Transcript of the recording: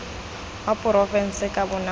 wa porofense ka bonako jo